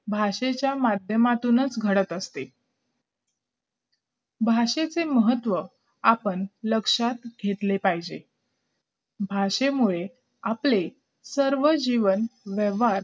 भाषेच्या माध्यमातूनच घडत असते भाषेचे महत्व आपण लक्षात घेतले पाहिजे भाषेमुळे आपले सर्व जीवन व्यवहार